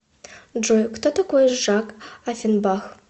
джой кто такой жак оффенбах